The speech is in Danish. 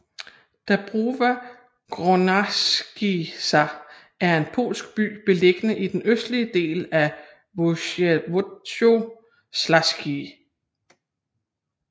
Dąbrowa Górnicza er en polsk by beliggende i den østlige del af Województwo śląskie